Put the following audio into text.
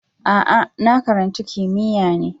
A'a, na karanci kimiyya ne